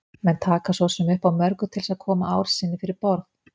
Menn taka svo sem upp á mörgu til þess að koma ár sinni fyrir borð.